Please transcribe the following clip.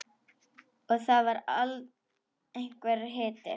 Og það var einhver hiti.